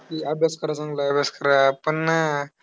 की अभ्यास करा चांगला, पण नाय.